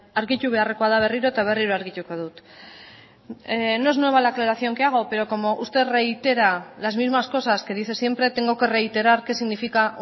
argitu beharrekoa da berriro eta berriro argituko dut no es nueva la aclaración que hago pero como usted reitera las mismas cosas que dice siempre tengo que reiterar qué significa